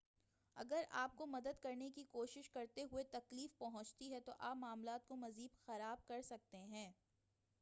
اگر آپ کو مدد کرنے کی کوشش کرتے ہوئے تکلیف پہنچتی ہے تو آپ معاملات کو مزید خراب کر سکتے ہیں